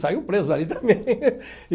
Saiu preso dali também.